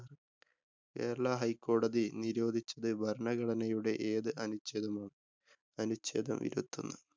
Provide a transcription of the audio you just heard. കേരള ഹൈക്കോടതി നിരോധിച്ചത് ഭരണഘടനയുടെ ഏതു അനുച്ഛേദമാണ്? അനുച്ഛേദം ഇരുപത്തൊന്ന്.